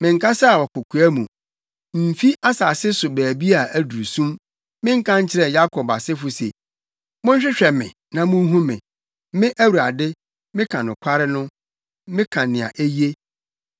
Menkasaa wɔ kokoa mu, mfi asase so baabi a aduru sum; menka nkyerɛɛ Yakob asefo se, ‘Monhwehwɛ me na munhu me.’ Me Awurade, meka nokware no; meka nea eye.